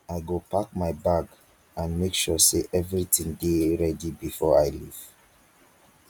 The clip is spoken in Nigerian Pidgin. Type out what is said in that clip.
i go pack my bag and make sure say everything dey ready before i leave